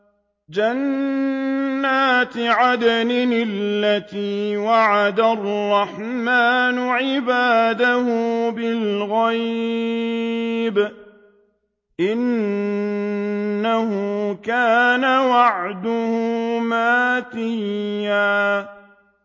جَنَّاتِ عَدْنٍ الَّتِي وَعَدَ الرَّحْمَٰنُ عِبَادَهُ بِالْغَيْبِ ۚ إِنَّهُ كَانَ وَعْدُهُ مَأْتِيًّا